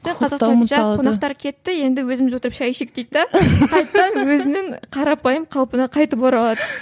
сол қазақстанның қонақтары кетті енді өзіміз отырып шай ішейік дейді де қайтадан өзінің қарапайым қалпына қайтып оралады